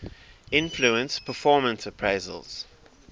influence performance appraisals